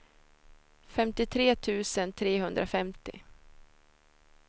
femtiotre tusen trehundrafemtio